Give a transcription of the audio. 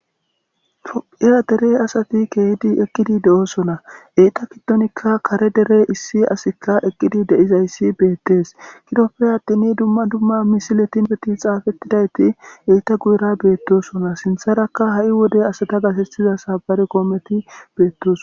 Era derey asati keehidi eqqidi de7osona eyta kiddonikka kare dere issi asikka eqqidi deizayssi beettes kidoppe attini dumma dumma misiletin beti xaafettidayti eita guyra beettosona sintharakka ha7i wode asata gasetiza sabare koometi beettos.